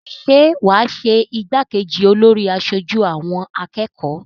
Ṣé wà á ṣe igbákejì olórí aṣojú àwọn akẹ́kọ̀ọ́?